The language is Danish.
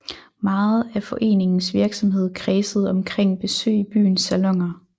Meget af foreningens virksomhed kredsede omkring besøg i byens saloner